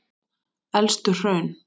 Elstu hraun